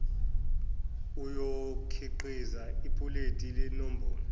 oyokhiqiza ipuleti lenombolo